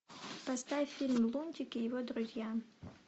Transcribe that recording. поставь фильм лунтик и его друзья